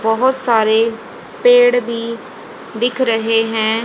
बहुत सारे पेड़ भी दिख रहे हैं।